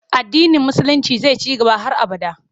Addinin Musulinci zai ci gaba har abada.